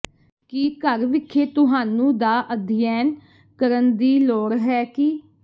ਕੀ ਘਰ ਵਿਖੇ ਤੁਹਾਨੂੰ ਦਾ ਅਧਿਐਨ ਕਰਨ ਦੀ ਲੋੜ ਹੈ ਕੀ